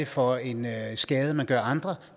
for en skade man gør andre